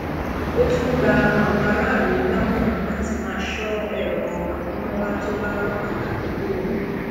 ó tún gba àwọn aráàlú lámọràn láti máa sọ èrò amúnáwá tó bá wà ládùúgbò wọn